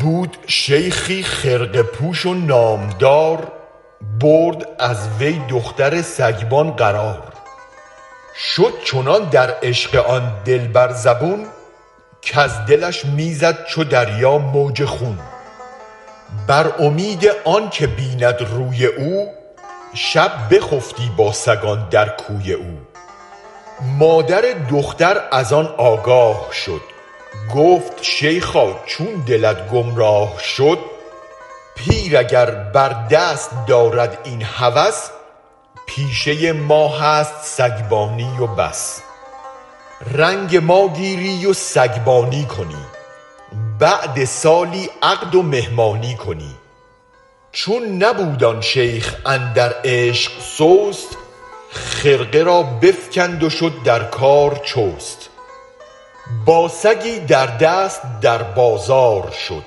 بود شیخی خرقه پوش و نامدار برد از وی دختر سگبان قرار شد چنان در عشق آن دلبر زبون کز دلش می زد چو دریا موج خون بر امید آنک بیند روی او شب بخفتی با سگان در کوی او مادر دختر از آن آگاه شد گفت شیخا چون دلت گم راه شد پیر اگر بر دست دارد این هوس پیشه ما هست سگبانی و بس رنگ ماگیری و سگبانی کنی بعد سالی عقد و مهمانی کنی چون نبود آن شیخ اندر عشق سست خرقه را بفکند و شد در کار چست با سگی در دست در بازار شد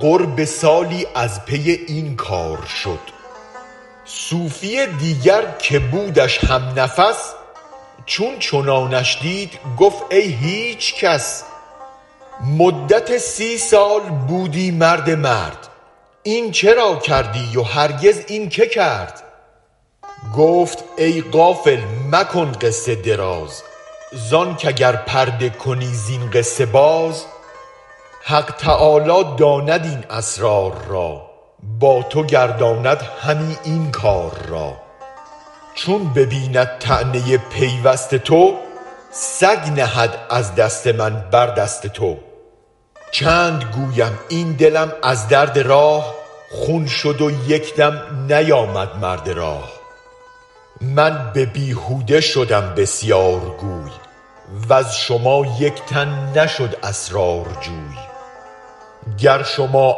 قرب سالی از پی این کار شد صوفی دیگر که بودش هم نفس چون چنانش دید گفت ای هیچ کس مدت سی سال بودی مرد مرد این چرا کردی و هرگز این که کرد گفت ای غافل مکن قصه دراز زانک اگر پرده کنی زین قصه باز حق تعالی داند این اسرار را با تو گرداند همی این کار را چون ببیند طعنه پیوست تو سگ نهد از دست من بر دست تو چند گویم این دلم از درد راه خون شد و یک دم نیامد مرد راه من ببیهوده شدم بسیار گوی وز شما یک تن نشد اسرارجوی گر شما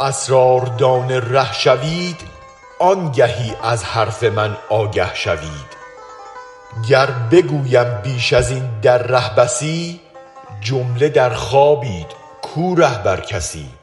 اسرار دان ره شوید آنگهی از حرف من آگه شوید گر بگویم بیش ازین در ره بسی جمله در خوابید کو رهبر کسی